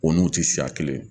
O n'u tɛ siya kelen ye